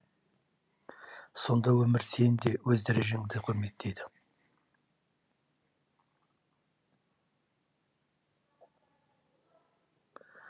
сонда өмір сені де өз дәрежеңде құрметейді